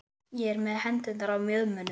Ég er með hendurnar á mjöðmunum.